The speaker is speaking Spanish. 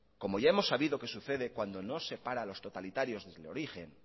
como ya hemos sabido que sucede cuando no se para a los totalitarios desde el origen